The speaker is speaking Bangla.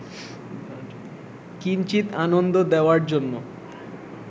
কিঞ্চিৎ আনন্দ দেওয়ার জন্য